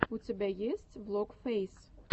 у тебя есть влог фэйс